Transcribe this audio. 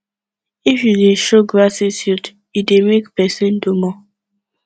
if you de you de show gratitude e dey make persin do more